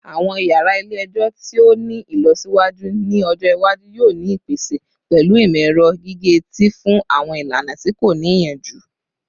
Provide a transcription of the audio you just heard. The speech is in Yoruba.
Awọn yara ile-ẹjọ ti o ni ilọsiwaju ni ọjọ iwaju yoo ni ipese pẹlu imọ-ẹrọ gige-eti fun awọn ilana ti ko ni iyanju